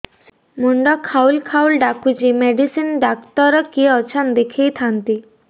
ମୁଣ୍ଡ ଖାଉଲ୍ ଖାଉଲ୍ ଡାକୁଚି ମେଡିସିନ ଡାକ୍ତର କିଏ ଅଛନ୍ ଦେଖେଇ ଥାନ୍ତି